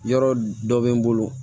Yɔrɔ dɔ bɛ n bolo